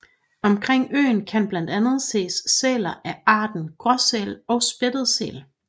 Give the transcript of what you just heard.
Omkring øen kan blandt andet ses sæler af arterne Gråsæl og Spættet Sæl